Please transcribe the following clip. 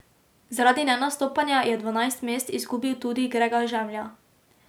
Zaradi nenastopanja je dvanajst mest izgubil tudi Grega Žemlja.